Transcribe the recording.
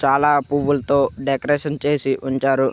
చాలా పువ్వులతో డెకరేషన్ చేసి ఉంచారు.